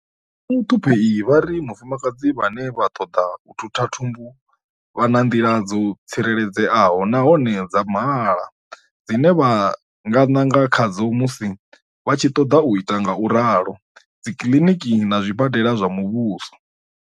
Vho Muṱhuphei vha ri vhafumakadzi vhane vha ṱoḓa u thutha thumbu vha na nḓila dzo tsireledzeaho nahone dza mahala dzine vha nga nanga khadzo musi vha tshi ṱoḓa u ita ngauralo dzikiḽiniki na zwibadela zwa muvhuso.